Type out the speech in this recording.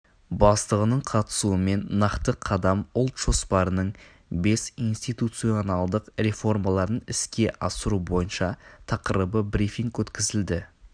бастығының қатысуымен нақты қадам ұлт жоспарының бес институционалдық реформаларын іске асыру бойынша тақырыбында брифинг өткізілді